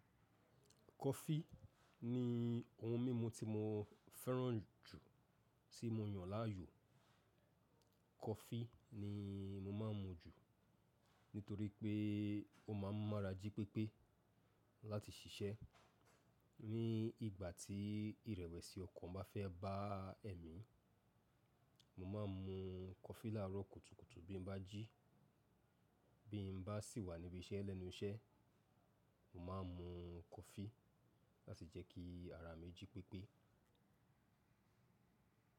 Kọfí ní ohun mímu tí mo fẹ́ràn jù tí mo yàn láàyò. Kọfí ni mo máa ń mu jù nítorí pé ó máa ń mu ara jí pépé láti ṣiṣẹ́. Ni ìgbà tí ìrẹ̀wẹ̀sì ọkàn bá fẹ́ bá èmi, mo máa ń mu kọfí láàárọ̀ kùtùkùtù bí mo bá jí. Bí mo bá sì wà níbí iṣẹ́ lẹ́nu iṣẹ́, mo máa ń mu kọfí láti jẹ́ kí ara mi jí pépé.